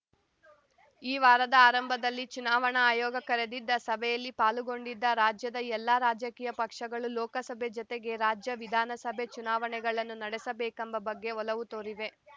ಈ ವಾರದ ಆರಂಭದಲ್ಲಿ ಚುನಾವಣಾ ಆಯೋಗ ಕರೆದಿದ್ದ ಸಭೆಯಲ್ಲಿ ಪಾಲ್ಗೊಂಡಿದ್ದ ರಾಜ್ಯದ ಎಲ್ಲ ರಾಜಕೀಯ ಪಕ್ಷಗಳು ಲೋಕಸಭೆ ಜತೆಗೆ ರಾಜ್ಯ ವಿಧಾನಸಭೆ ಚುನಾವಣೆಗಳನ್ನು ನಡೆಸಬೇಕೆಂಬ ಬಗ್ಗೆ ಒಲವು ತೋರಿವೆ